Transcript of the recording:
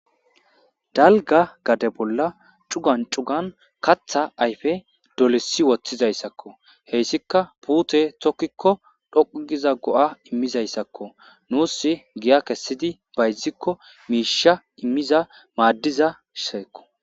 Dalga gade bolla cugan cugan katha ayfe dolesi woththizayssakko. hessika puute tokkikko dhoqu giza go7a immizayssakko nuus giya kessidi bayzikko miisha immiza maaddiza shaykko.